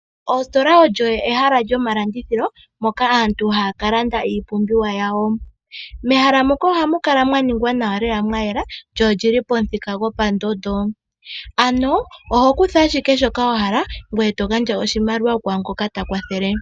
Ostola olyo ehala lyo malandithilo, moka aantu haya ka landa iipumbiwa yawo. Mehala moka ohamu kala mwa ningwa nawa lela mwa yela, lyo olili po muthika go pondondo. Ano oho kutha shike shoka wa hala, ngweye to gandja oshimaliwa kwaa ngoka ta kwathele.